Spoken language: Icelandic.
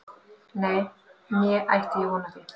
Nei, né ætti ég von á því